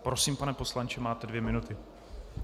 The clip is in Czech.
Prosím, pane poslanče, máte dvě minuty.